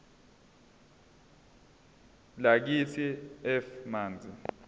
lakithi f manzi